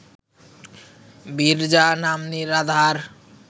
বিরজা নাম্নী রাধার